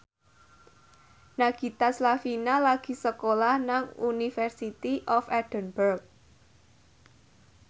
Nagita Slavina lagi sekolah nang University of Edinburgh